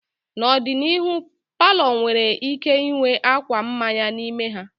N'ọdịnihu, palọ nwere ike ịnwe akwa mmanya n'ime ha.